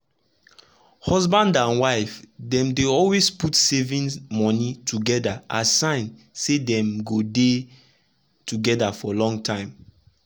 husband and wife dem dey always put saving money together as sign say dem go dey together for long time.